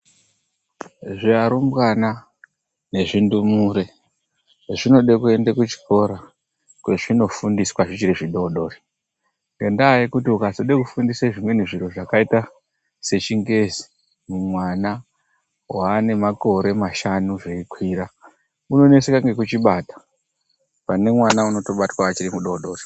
Zviarumbwana nezvindumure, zvinode kuenda kuchikora kwezvinofundiswa zvichiri zvidoodori .Ngendaa yekuti ukazoda kufundisa zvimweni zviro zvakaita sechingezi mwana waane makore mashanu zveikwira, unoneseka ngekuchibata pane mwana unobatwa achiri mudoodori.